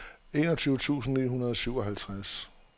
enogtyve tusind ni hundrede og syvoghalvtreds